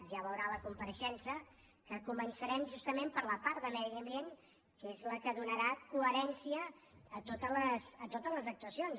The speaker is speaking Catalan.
ja veurà a la compareixença que començarem justament per la part de medi ambient que és la que donarà coherència a totes les actuacions